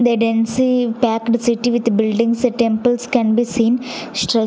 the densy packed city with buildings temples can be seen stru--